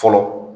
Fɔlɔ